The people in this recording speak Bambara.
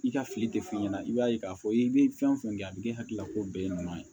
I ka fili tɛ f'i ɲɛna i b'a ye k'a fɔ i bɛ fɛn o fɛn kɛ a bɛ k'e hakili la ko bɛɛ ye ɲuman ye